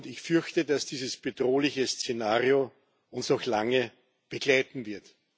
Ich fürchte, dass dieses bedrohliche Szenario uns noch lange begleiten wird.